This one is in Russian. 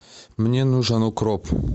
мне нужен укроп